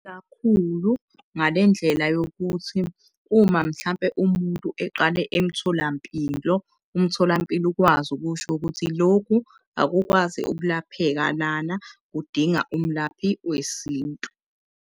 Kubaluleke kakhulu ngale ndlela yokuthi uma mhlampe umuntu eqale emtholampilo, umtholampilo ukwazi ukusho ukuthi lokhu akukwazi ukulapheka lana kudinga umlaphi wesintu.